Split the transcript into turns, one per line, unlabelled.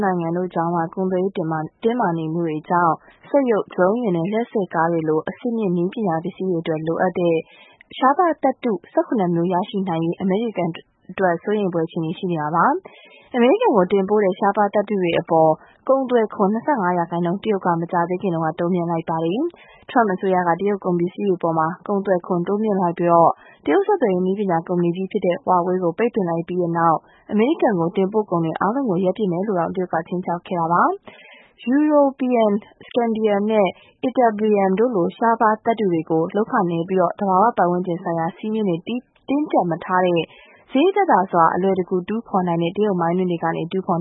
နိုင်ငံတို့ကြား ကုန်သွယ်ရေးတင်းမာနေမှုတွေကြောင့် စက်ရုပ်၊ ဒရုန်းယာဉ်နဲ့ လျှပ်စစ်ကားတို့လို အဆင့်မြင့် နည်းပညာပစ္စည်းတွေအတွက် လိုအပ်တဲ့ ရှားပါးသတ္ထု ၁၇ မျိုး ရရှိနိုင်ရေး အမေရိကန်အတွက် စိုးရိမ်ဖွယ်အခြေအနေ ရှိနေပါတယ်။ အမေရိကန်ကို တင်ပို့တဲ့ ရှားပါးသတ္ထုတွေအပေါ် ကုန်သွယ်ခွန် ၂၅ ရာခိုင်နှုန်း တရုတ်က မကြာခင်တုန်းက တိုးမြှင့်လိုက်ပါတယ်။ Trump အစိုးရက တရုတ်ကုန်ပစ္စည်းတွေအပေါ် ကုန်သွယ်ခွန် တိုးမြှင့်လိုက်ပြီး တရုတ်ဆက်သွယ်ရေး နည်းပညာကုမ္ပဏီကြီး Huawei ကို ပိတ်ပင်လိုက်တဲ့နောက် အမေရိကန်ကို တင်ပို့ကုန်တွေအားလုံးကို ရပ်ပစ်မယ်လို့တောင် တရုတ်က ခြိမ်းခြောက်ခဲ့ပါတယ်။ Europium, scandium နဲ့ ytterbium တို့လို ရှားပါး သတ္ထုတွေကို လုပ်ခနည်းပြီး သဘာဝပတ်ဝန်းကျင်ဆိုင်ရာ စည်းမျဉ်းတွေ တင်းကြပ်မထားတာကြောင့် စရိတ်သက်သာစွာ အလွယ်တကူတူးဖော်နိုင်တဲ့ တရုတ်မိုင်းတွင်းတွေက တူးဖော်